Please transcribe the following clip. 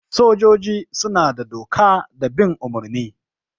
Sojoji suna da doka da bin umurni.